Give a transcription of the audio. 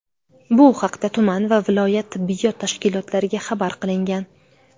Bu haqda tuman va viloyat tibbiyot tashkilotlariga xabar qilingan.